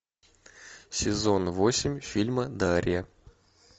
сезон восемь фильма дарья